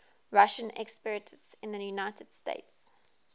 russian expatriates in the united states